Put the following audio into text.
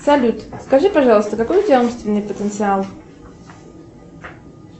салют скажи пожалуйста какой у тебя умственный потенциал